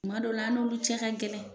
Kuma dɔ la an n'olu cɛ ka gɛlɛn.